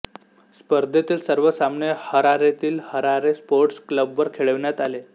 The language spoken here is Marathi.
स्पर्धेतील सर्व सामने हरारेतील हरारे स्पोर्ट्स क्लबवर खेळविण्यात आले